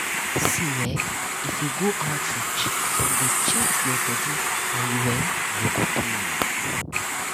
see eh if you go outreach dem go chheck your body and you um no go pay.